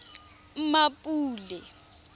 mmapule